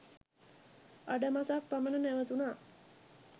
අඩමසක් පමණ නැවතුනා